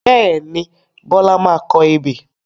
Bẹ́ẹ̀ni, Bọlá máa kọ ebè